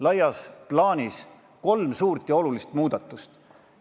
Laias plaanis on ees kolm suurt ja olulist muudatust.